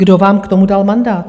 Kdo vám k tomu dal mandát?